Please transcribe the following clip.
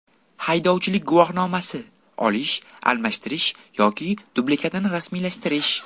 Haydovchilik guvohnomasi: Olish, almashtirish yoki dublikatini rasmiylashtirish.